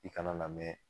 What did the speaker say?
I kana na mɛn